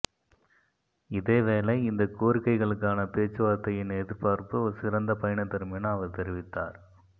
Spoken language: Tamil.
இதேவேளை இந்த கோரிக்கைகளுக்கான பேச்சுவாரத்தையின் எதிர்பார்ப்பு ஒரு சிறந்த பயனை தரும் என அவர் தெரிவித்தார்